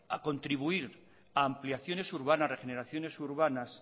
contribuir a ampliaciones urbanas regeneraciones urbanas